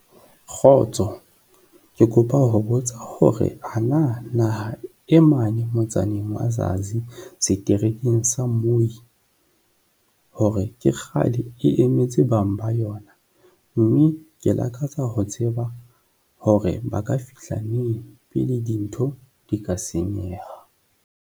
Kgotso, ke kopa ho botsa hore ana naha e mane motsaneng wa Zazi, seterekeng sa Muyi, hore ke kgale e emetse bang ba yona, mme ke lakatsa ho tseba hore ba ka fihla neng pele dintho di ka senyeha.